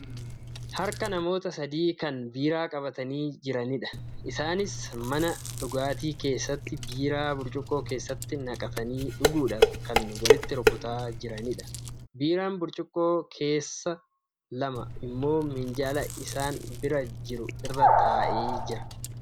Harka namoota sadii kan biiraa qabatanii jiranidha. Isaanis mana dhugaatii keessatti biiraa burcuqqoo keessatti naqatanii dhuguudhaf kan waliin rukutaa jiranidha. Biiran burcuqqoo keessaa lama immoo minjaala isaan bira jiru irra taa'ee jira.